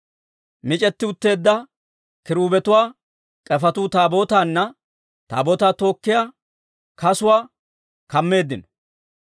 Mic'etti utteedda kiruubetuwaa k'efetuu Taabootaanne Taabootaa tookkiyaa kasuwaa kammeeddino.